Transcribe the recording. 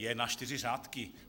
Je na čtyři řádky.